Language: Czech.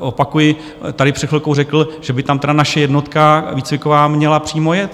opakuji, tady před chvilkou řekl, že by tam tedy naše jednotka výcviková měla přímo jet.